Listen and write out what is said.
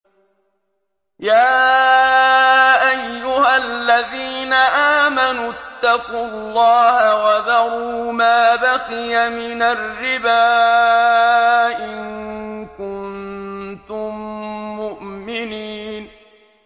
يَا أَيُّهَا الَّذِينَ آمَنُوا اتَّقُوا اللَّهَ وَذَرُوا مَا بَقِيَ مِنَ الرِّبَا إِن كُنتُم مُّؤْمِنِينَ